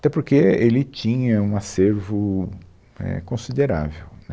Até porque ele tinha um acervo, é, considerável, né